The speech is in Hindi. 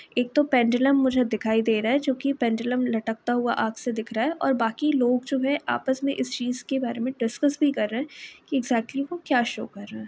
एक तो पेंडुलम मुझे दिखाई दे रहा है जो कि पेंडुलम लटकता हुआ आँख से दिख रहा है और बाकि लोग जो है आपस में इस चीज के बारे में डिस्कस भी कर रहे है की इक्ज़क्ट्ली वो क्या शो कर रहा है।